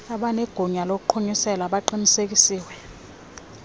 abanegunya lokuqhumisela baqinisekisile